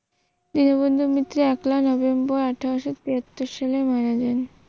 দীনবন্ধু মিত্র একলা নভেম্বর আঠারোশ তিয়াত্তর সালে মারা যান